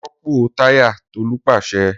Ropo taya Tolu pase.